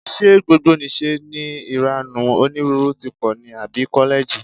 Ṣé gbogbonìṣe ni ìranù onírúurú tí pọ̀ ní àbí kọ́lẹ́ẹ̀jì?